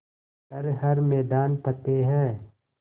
कर हर मैदान फ़तेह